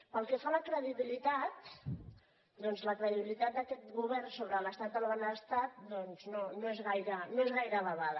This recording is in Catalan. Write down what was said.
pel que fa a la credibilitat la credibilitat d’aquest govern sobre l’estat del benestar doncs no és gaire elevada